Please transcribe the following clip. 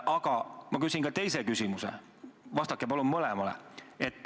Aga ma küsin ka teise küsimuse, vastake palun mõlemale.